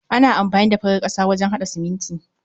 Ana amfani da farar ƙasa wajen haɗa siminti.